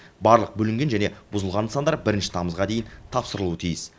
барлық бүлінген және бұзылған нысандар бірінші тамызға дейін тапсырылуы тиіс